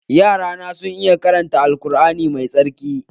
Yara na sun iya karanta Al Kur'ani mai tsarki